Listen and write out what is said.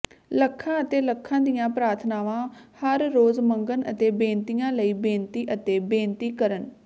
ਲੱਖਾਂ ਅਤੇ ਲੱਖਾਂ ਦੀਆਂ ਪ੍ਰਾਰਥਨਾਵਾਂ ਹਰ ਰੋਜ਼ ਮੰਗਣ ਅਤੇ ਬੇਨਤੀਆਂ ਲਈ ਬੇਨਤੀ ਅਤੇ ਬੇਨਤੀ ਕਰਨ